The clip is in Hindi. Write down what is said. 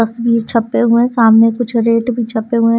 भी छपे हुए हैं सामने कुछ रेट भी छपे हुए हैं।